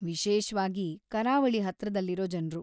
ವಿಶೇಷ್ವಾಗಿ ಕರಾವಳಿ ಹತ್ರದಲ್ಲಿರೋ ಜನ್ರು.